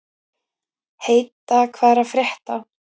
Heida, hvað er að frétta?